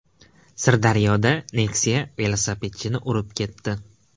Sirdaryoda Nexia velosipedchini urib ketdi.